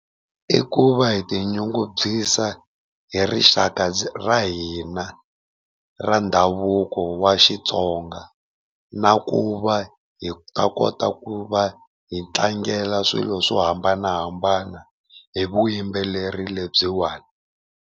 I ku va hi tinyungubyisa hi rixaka ra hina ra ndhavuko wa Xitsonga, na ku va hi ta kota ku va hi tlangela swilo swo hambanahambana hi vuyimbeleri lebyiwani.